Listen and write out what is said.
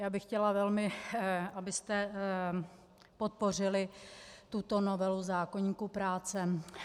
Já bych chtěla velmi, abyste podpořili tuto novelu zákoníku práce.